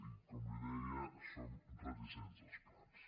i com li deia som reticents als plans